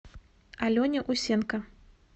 алене усенко